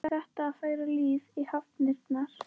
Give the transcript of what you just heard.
Er þetta að færa líf í hafnirnar?